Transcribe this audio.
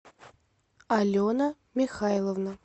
алена михайловна